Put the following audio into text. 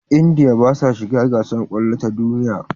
India basa shiga gasar kwallo ta duniya